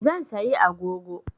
Zan sayi agogo